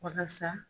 Walasa